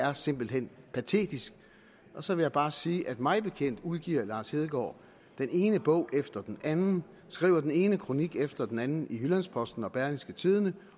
er simpelt hen patetisk så vil jeg bare sige at mig bekendt udgiver lars hedegaard den ene bog efter den anden skriver den ene kronik efter den anden i jyllands posten og berlingske tidende